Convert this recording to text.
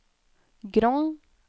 Grong